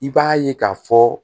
I b'a ye k'a fɔ